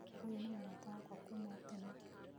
Ũyũ nĩ mũrata wakwa kuma o tene